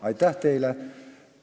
Aitäh teile!